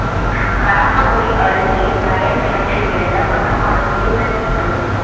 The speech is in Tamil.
கறம்பக்குடி அருகே வயல் கிணற்றில் விழுந்த பசு மாடு உயிருடன் மீட்பு